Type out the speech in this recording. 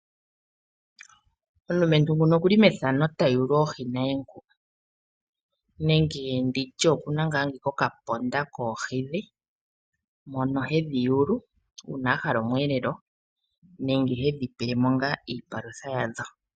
Omulumentu nguno okuli methano ta yulu oohi naye ngu. Nenge nditye okuna ngaa okandama koohi dhe. Mono hedhi yulu una ahala omweelelo nenge hedhi pele mo ngaa iipalutha yadho.